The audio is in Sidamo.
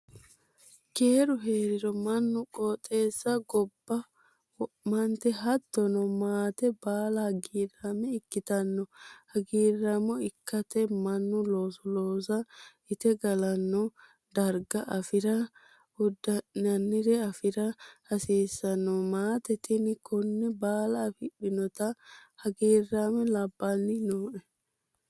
Keeru heeriro mannu qooxeessaho gobba wo'mate hattono maate baalla hagiirame ikkittano hagiiramo ikkate mannu looso loossa inte gallani darga afira uddi'nannire afira hasiisano, maate tini kone baalla affidhinotta hagiirame labbanni nooe.